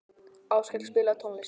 Áskell, spilaðu tónlist.